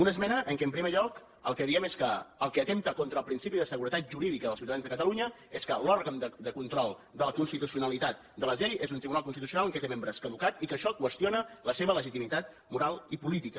una esmena en què en primer lloc el que diem és que el que atempta contra el principi de seguretat jurídica dels ciutadans de catalunya és que l’òrgan de control de la constitucionalitat de les lleis és un tribunal constitucional que té membres caducats i que això qüestiona la seva legitimitat moral i política